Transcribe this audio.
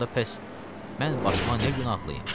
Onda pəs mən başıma nə günahlayım?